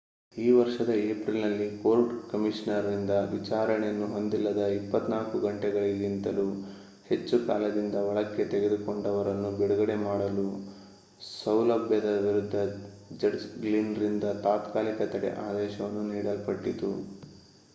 ಈ ವರ್ಷದ ಏಪ್ರಿಲ್‌ನಲ್ಲಿ ಕೋರ್ಟ್‌ ಕಮಿಷನರ್‌ರಿಂದ ವಿಚಾರಣೆಯನ್ನು ಹೊಂದಿಲ್ಲದ 24 ಗಂಟೆಗಳಿಗಿಂತಲೂ ಹೆಚ್ಚು ಕಾಲದಿಂದ ಒಳಕ್ಕೆ ತೆಗೆದುಕೊಂಡವರನ್ನು ಬಿಡುಗಡೆ ಮಾಡಲು ಸೌಲಭ್ಯದ ವಿರುದ್ಧ ಜಡ್ಜ್‌ ಗ್ಲಿನ್‌ರಿಂದ ತಾತ್ಕಾಲಿಕ ತಡೆ ಆದೇಶವನ್ನು ನೀಡಲ್ಪಟ್ಟಿತು